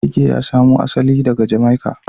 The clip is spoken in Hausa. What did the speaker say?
Reggae ya samo asali ne daga Jamaica